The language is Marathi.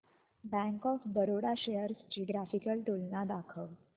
बँक ऑफ बरोडा शेअर्स ची ग्राफिकल तुलना दाखव